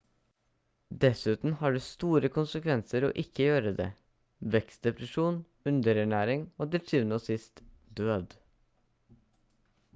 dessuten har det store konsekvenser å ikke gjøre det vekstdepresjon underernæring og til syvende og sist død